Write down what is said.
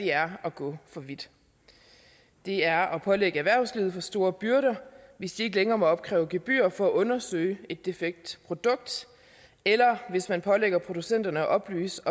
er at gå for vidt det er at pålægge erhvervslivet for store byrder hvis de ikke længere må opkræve gebyr for at undersøge et defekt produkt eller hvis man pålægger producenterne at oplyse